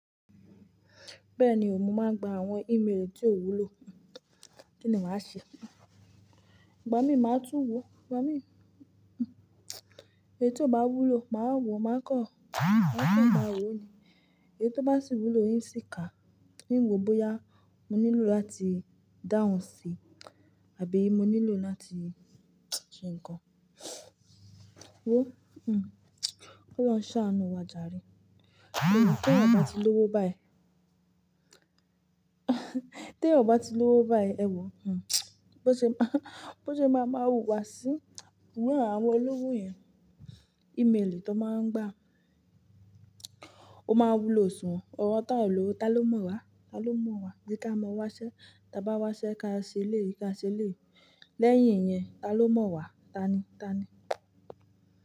Bẹ́ẹ̀ni, mo máa ń gba àwọn email tí ó wúlò. Kí ni màá ṣe? Ìgbà mí máa tú wò, ìgbà mí èyí tó bá wúlò, màá wọ, màá kọ́, màá kọ́, màá wò ni. Èyí tó bá sì wúlò yín sì ká, n í wo bóyá mo nílò láti dáhùn sí àbí mo nílò láti ṣe nǹkan. Wo, ó máa ń ṣàánú wa jàre. Téèyàn ó bá ti lówó báyìí, téèyàn ó bá ti lówó báyìí, ẹ wò, bó ṣe má, bó ṣe máa máa wú wa sí. Wùwà àwọn olówó yẹn, email tó máa ń gbá, ó máa wúlò sì wọ́n. Ọwọ́ tá lòó, ta ló mọ̀ wá? Ta ló mọ̀ wá? Bí ka mọ wá ṣẹ́, tí a bá wá ṣẹ́ ká ṣe èléyì, ká ṣe èléyì. Lẹ́yìn yẹn, ta ló mọ̀ wá? Ta ni? Ta ni?